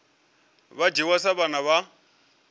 vha dzhiwa sa vhana vha